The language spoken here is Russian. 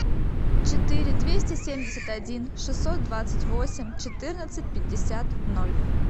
четыре двести семьдесят один шестьсот двадцать восемь четырнадцать пятьдесят ноль